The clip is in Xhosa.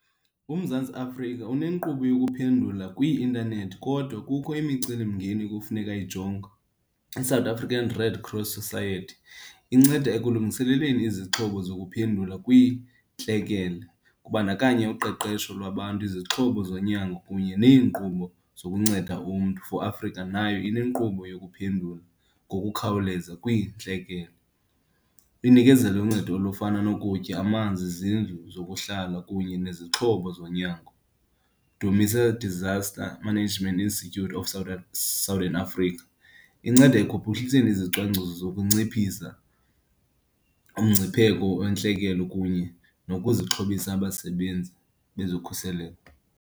UMzantsi Afrika unenkqubo yokuphendula kwii-intanethi kodwa kukho imicelimngeni ekufuneka ijongwe. I-South African Red Cross Society inceda ekulungiseleleni izixhobo zokuphendula kwiintlekele, kubandakanya uqeqesho lwabantu, izixhobo zonyango kunye neenkqubo zokunceda umntu for Afrika. Nayo inenkqubo yokuphendula ngokukhawuleza kwiintlekele. Inikezela uncedo olufana nokutya, amanzi, izindlu zokuhlala kunye nezixhobo zonyango. Dumisa Disaster Management Institute of Southern Africa. Inceda ekuphuhliseni izicwangciso zokunciphisa umngcipheko wentlekelo kunye nokuzixhobisa abasebenzi nezokhuseleko.